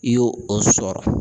I yo o sɔrɔ